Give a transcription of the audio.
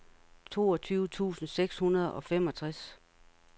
toogtyve tusind seks hundrede og femogtres